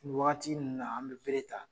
Wagati mun na an be bere ta